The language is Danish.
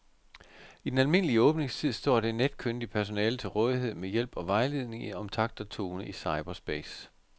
I den almindelige åbningstid står det netkyndige personale til rådighed med hjælp og vejledning om takt og tone i cyberspace.